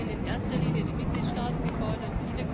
Da sind in erster Linie die Mitgliedstaaten gefordert.